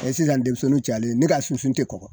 Ɛ sisan denmisɛnnuw cayalen ne k'a sunsun te kɔgɔ